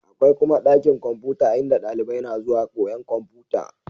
Akwai kuma ɗakin kwamfuta in da dalibai na zuwa koyan kwamfuta